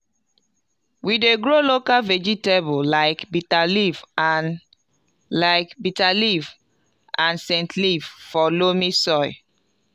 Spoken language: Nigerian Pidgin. we dey grow local vegetable like bitterleaf and like bitterleaf and scentleaf for loamy soil